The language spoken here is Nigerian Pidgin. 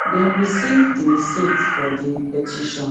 dem receive di receipt of di petition